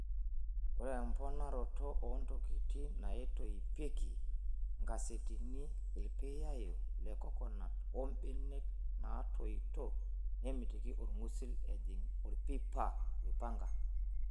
Ore emponaroto oo ntokiting' naitoipieki (enkasetini, irpiyayo lekokonut ombenek natoito) nemitiki orng'usil ejing orpipa oipanga.